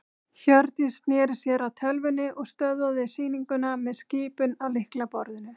Hjördís sneri sér að tölvunni og stöðvaði sýninguna með skipun á lyklaborðinu.